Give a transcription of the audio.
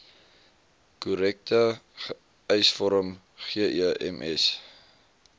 korrekte eisvorm gems